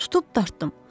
Tutub dartdım.